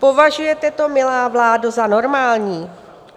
Považujete to, milá vládo, za normální?